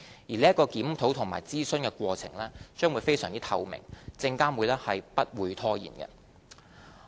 而這個檢討及諮詢的過程均會非常透明，證監會不會拖延。